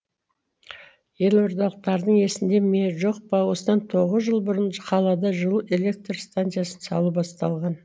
елордалықтардың есінде ме жоқ па осыдан тоғыз жыл бұрын қалада жылу электр станциясын салу басталған